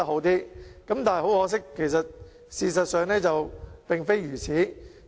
但是，很可惜，事實並非如此。